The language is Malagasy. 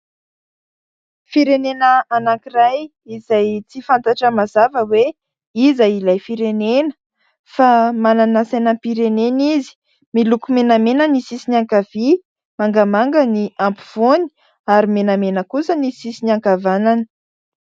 Firenena anankiray izay tsy fantatra mazava hoe iza ilay firenena fa manana sainam-pirenena izay miloko menamena ny sisiny ankavia, mangamanga ny afovoany ary menamena kosa ny sisiny ankavanana.